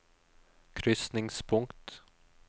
krysningspunkt